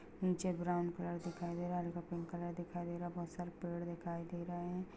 नीचे brown colour दिखाई रहा है हल्का पिंक कलर दिखाई दे रहा है बोहोत सारे पेड़ दिखाई दे रहे हैं।